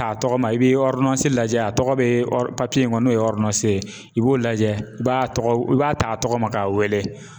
t'a tɔgɔ ma i bɛ lajɛ a tɔgɔ bɛ ori in kɔnɔ n'o ye i b'o lajɛ i b'a tɔgɔ i b'a t'a tɔgɔ ma k'a wele.